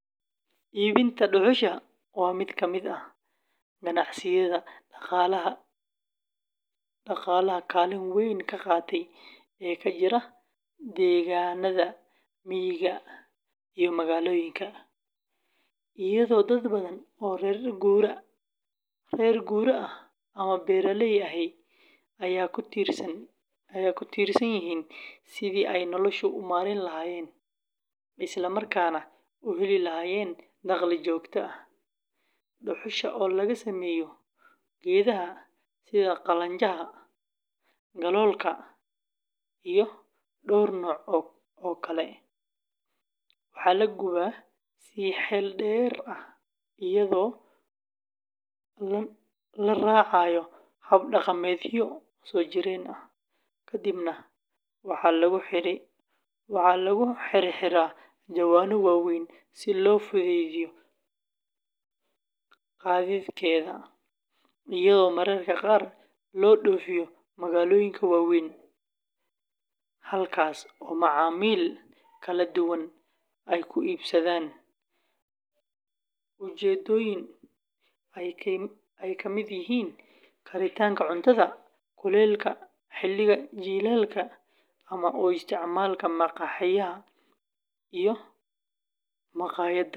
Iibinta dhuxusha waa mid ka mid ah ganacsiyada dhaqaalaha kaalin weyn ka qaata ee ka jira deegaanada miyiga iyo magaalooyinka Soomaaliya, iyadoo dad badan oo reer guuraa ah ama beeraley ahi ay ku tiirsan yihiin sidii ay noloshooda u maareyn lahaayeen, isla markaana u heli lahaayeen dakhli joogto ah; dhuxusha oo laga sameeyo geedaha sida qalanjaha, galoolka, iyo dhowr nooc oo kale, waxaa la gubaa si xeel dheer ah iyadoo la raacayo hab dhaqameedyo soo jireen ah, kadibna waxaa lagu xirxiraa jawaano waaweyn si loo fududeeyo gaadiidkeeda, iyadoo mararka qaar loo dhoofiyo magaalooyinka waaweyn, halkaas oo macaamiil kala duwan ay ku iibsadaan ujeeddooyin ay ka mid yihiin karinta cuntada, kuleylka xilliga jiilaalka, ama u isticmaalka maqaaxiyaha iyo maqaayadaha.